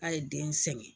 A ye den sɛgɛn